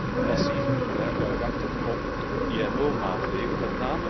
We moeten niet passief wachten op IMO maatregelen.